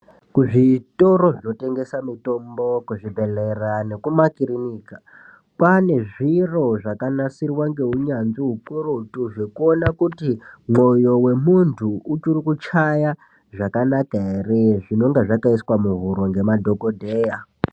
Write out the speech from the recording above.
Kuzvitoro zvinotengesa mitombo kuzvibhedhleyaa nekumakirinika kwane zviro zvakansirwa ngeunyanzvi ukurutu zvekuona kuti mwoyo wemuntu uchiri kuchaya zvakanaka ere zvinege zvakaiswa muhuro ngemadhokodheya.